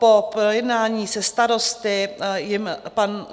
Po projednání se starosty jim pan